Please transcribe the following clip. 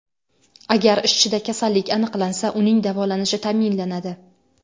Agar ishchida kasallik aniqlansa, uning davolanishi ta’minlanadi.